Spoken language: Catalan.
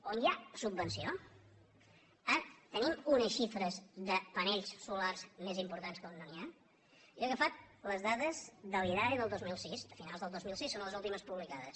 on hi ha subvenció tenim unes xifres de panells solars més importants que on no n’hi ha jo he agafat les dades de l’idae del dos mil sis de finals del dos mil sis són les últimes publicades